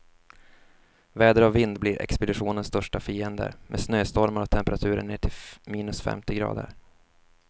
Väder och vind blir expeditionens största fiender, med snöstormar och temperaturer ner till minus femtio grader.